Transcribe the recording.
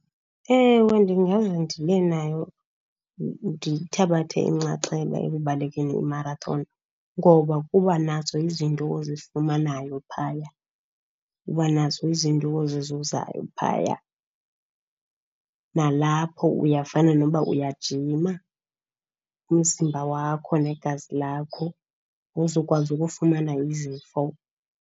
Ewe, ndingaze ndibenayo, ndithabathe inxaxheba ekubalekeni i-marathon. Ngoba kuba nazo izinto ozifumanayo phaya, uba nazo izinto ozizuzayo phaya. Nalapho uyafana noba uyajima, umzimba wakho negazi lakho awuzokwazi ukufumana izifo.